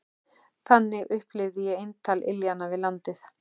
Þannig upplifði ég eintal iljanna við landið.